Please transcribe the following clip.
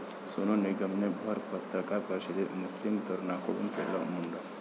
सोनू निगमने भर पत्रकार परिषदेत मुस्लीम तरुणाकडून केलं मुंडन